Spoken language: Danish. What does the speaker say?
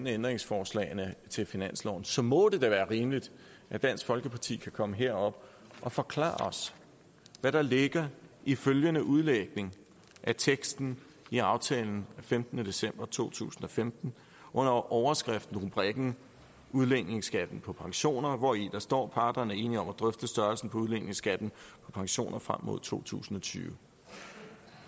ændringsforslagene til finansloven så må det da være rimeligt at dansk folkeparti kan komme herop og forklare os hvad der ligger i følgende udlægning af teksten i aftalen af femtende december to tusind og femten under overskriftrubrikken udligningsskatten på pensioner hvori der står at parterne er enige om at drøfte størrelsen på udligningsskatten på pensioner frem mod to tusind og tyve